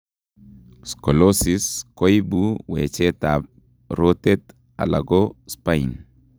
Scolosis koibu wecheet ab rotet alako spine